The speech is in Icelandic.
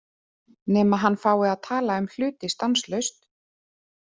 Nema hann fái að tala um hluti stanslaust.